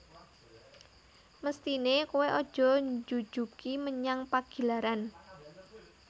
Mesthine koe aja njujugi menyang Pagilaran